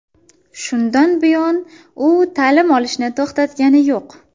Shundan buyon u ta’lim olishni to‘xtatgani yo‘q.